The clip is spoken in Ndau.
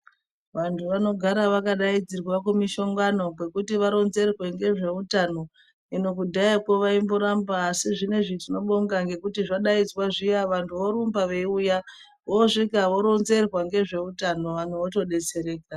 Vantu vanogara vakadaidzirwa kumishonhano kwekuti varonzerwe nezvehutano hino kudhayako vaimbotamba asi zvinezvi tinobonga nekuti zvadaidzwa zviya vantu vorumba veiuya vosvika voronzerwa nehutano hwawo votodetsereka.